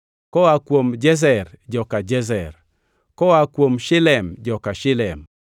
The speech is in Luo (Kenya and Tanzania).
koa kuom Jezer, joka Jezer; koa kuom Shilem, joka Shilem.